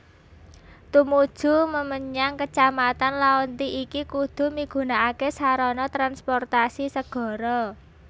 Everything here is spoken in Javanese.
Tumuju mmenyang kecamatan Laonti iki kudu migunakaké sarana transportasi segara